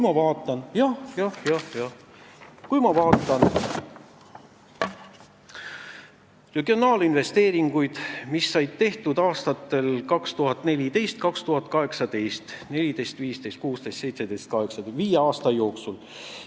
Vaatame regionaalinvesteeringuid, mis said tehtud aastatel 2014–2018 ehk aastatel 2014, 2015, 2016, 2017 ja 2018.